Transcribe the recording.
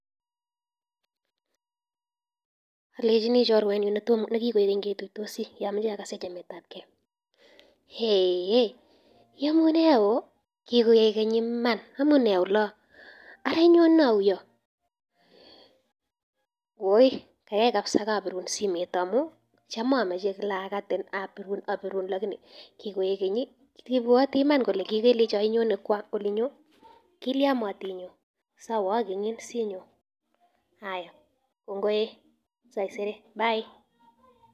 Alenyii chorwenyii nekigoi keny ketuitosii amoche agasen chametab geo, eeh iyomune o,kikoikeny Iman, amune oloon ara inyone ou yuh ,woi kaikai kabisa kaabiruun simet ngamun tam amoche kila again, abiruun lakini kigoik keny I,ibwotii Iman Ile kikele inyone olinyoon, kilian motinye, agenin anyun sinyoon, kongoi e saisere